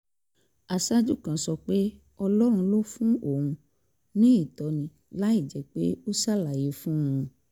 aṣáájú kan sọ pé ọlọ́run ló fún òun ní ìtọ́ni láìjẹ́ pé ó ṣàlàyé fún un